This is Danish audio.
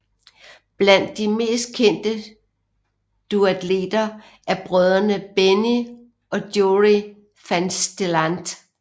Blandt de mest kendte duatleter er brødrene Benny og Joerie Vansteelant